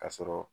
Ka sɔrɔ